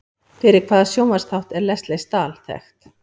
Fyrir hvaða sjónvarpsþátt er Lesley Stahl þekkt?